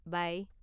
By!